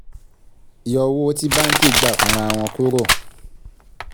yọ owó tí báǹkì gba fúnra wọn kúrò